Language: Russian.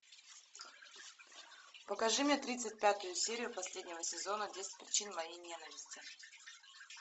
покажи мне тридцать пятую серию последнего сезона десять причин моей ненависти